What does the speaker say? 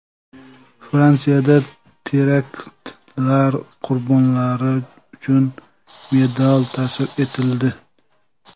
Fransiyada teraktlar qurbonlari uchun medal ta’sis etildi.